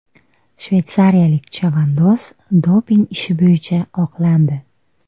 Shveysariyalik chavandoz doping ishi bo‘yicha oqlandi.